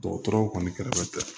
Dɔgɔtɔrɔw kɔni kɛrɛfɛ